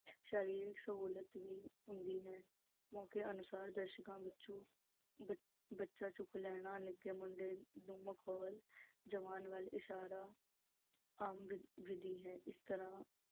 ਸਰੀਰਕ ਸ਼ਮੂਲੀਅਤ ਵੀ ਹੁੰਦੀ ਹੈ। ਮੌਕੇ ਅਨੁਸਾਰ ਦਰਸ਼ਕਾਂ ਵਿੱਚੋਂ ਬੱਚਾ ਚੁੱਕ ਲੈਣਾ, ਕਿਸੇ ਨਿੱਕੇ ਮੁੰਡੇ ਦੁਆਲਾ ਮਖੌਲ ਸਿਰਜਣਾ ਜਵਾਨ ਵਲ ਇਸ਼ਾਰਾ ਕਰਨਾ ਆਮ ਵਿਧੀ ਹੈ। ਇਸ ਤਰ੍ਹਾਂ